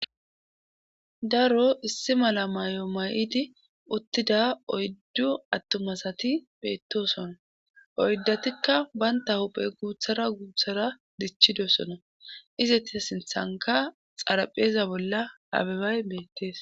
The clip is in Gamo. Daro issi mala may7o may7idi uttida oyddu attomasati beettosona oyddatikka banta huphe guuthara guuthara dichidosona izetia sinthanka xarapheeza bolla abebay beettees.